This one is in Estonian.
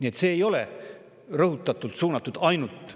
Nii et see ei ole rõhutatult suunatud ainult